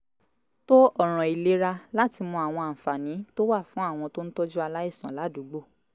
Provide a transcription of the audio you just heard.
tó ọ̀ràn ìlera láti mọ àwọn àǹfààní tó wà fún àwọn tó ń tọ́jú aláìsàn ládùúgbò